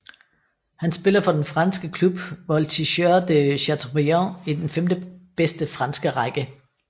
Han spiller for den franske klub Voltigeurs de Chateaubriant i den femtebedste franske række